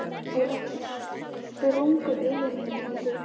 Og ekki sprungu augun í henni heldur.